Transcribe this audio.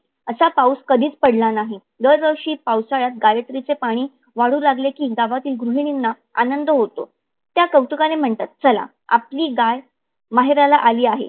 असा पाऊस कधीच पडला नाही. दर वर्षी पावसाळ्यात गायत्रीचे पाणी वाढू लागले कि गावातील गृहिणीना आनंद होतो. त्या कौतुकाने म्हणतात. चला आपली गाय माहेराला आली आहे.